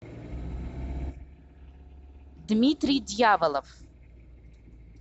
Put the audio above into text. дмитрий дьяволов